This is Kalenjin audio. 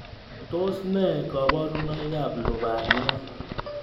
Tos ne kaborunoikab lubaniat